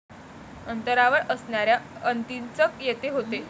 अंतरावर असणाऱ्या अंतीचक येथे होते.